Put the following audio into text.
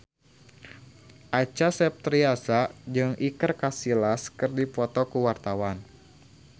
Acha Septriasa jeung Iker Casillas keur dipoto ku wartawan